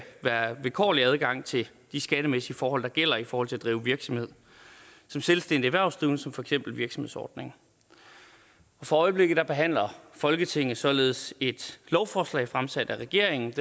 være vilkårlig adgang til de skattemæssige forhold der gælder i forhold til at drive virksomhed som selvstændig erhvervsdrivende som for eksempel virksomhedsordninger for øjeblikket behandler folketinget således et lovforslag fremsat af regeringen